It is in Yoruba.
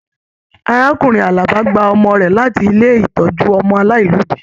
Arákùnrin Alábá gba ọmọ rẹ láti ilé ìtọjú ọmọ aláìlobi.